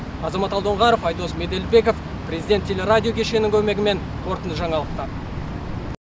азамат алдоңғаров айдос меделбеков президент телерадио кешенінің көмегімен қорытынды жаңалықтар